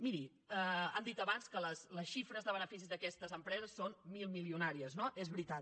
miri han dit abans que les xifres de beneficis d’aquestes empreses són milmilionàries no és veritat